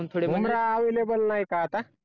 Bumrah available नाही का आता